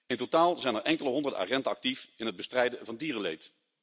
In totaal zijn er enkele honderden agenten actief in het bestrijden van dierenleed.